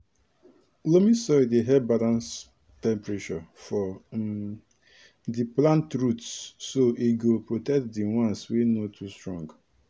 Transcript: loamy soil dey help balance temperature for um di plant roots so e go protect di once wey no too strong